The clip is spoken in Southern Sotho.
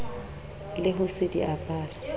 le ho se di apare